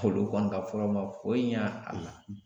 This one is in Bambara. Olu kɔni ka furaw ma foyi ɲa a la.